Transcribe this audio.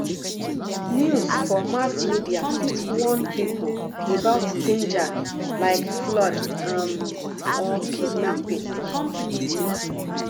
news for mass media fit warn people about danger like flood um or kidnapping